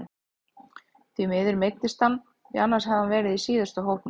Því miður meiddist hann því annars hefði hann verið í síðustu hópum.